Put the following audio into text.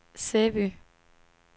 Sæby